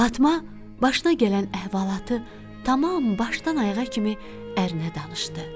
Fatma başına gələn əhvalatı tamam başdan-ayağa kimi ərinə danışdı.